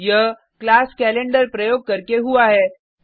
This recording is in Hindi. यह क्लास कैलेंडर प्रयोग करके हुआ है